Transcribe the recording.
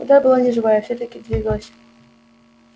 вода была неживая и все таки двигалась